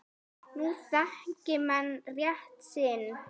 Nú þekki menn rétt sinn.